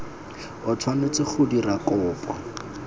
o tshwanetse go dira kopo